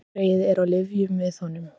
Karlgreyið er á lyfjum við honum